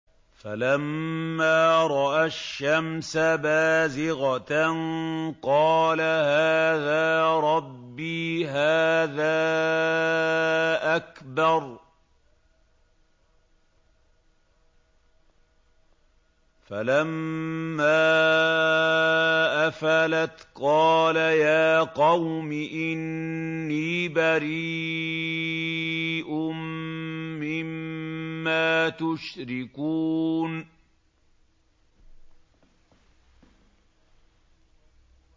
فَلَمَّا رَأَى الشَّمْسَ بَازِغَةً قَالَ هَٰذَا رَبِّي هَٰذَا أَكْبَرُ ۖ فَلَمَّا أَفَلَتْ قَالَ يَا قَوْمِ إِنِّي بَرِيءٌ مِّمَّا تُشْرِكُونَ